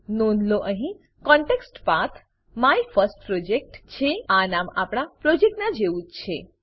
નોંધ લો અહીં context path context path my first project છે આ નામ આપણા પ્રોજેક્ટ નાં જેવું જ છે